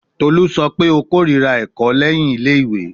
Tolu sọ pe o korira lẹhin ẹkọ ile-iwe